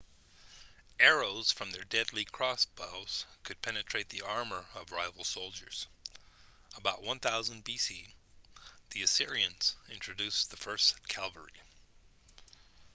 arrows from their deadly crossbows could penetrate the armor of rival soldiers about 1000 b.c. the assyrians introduced the first cavalry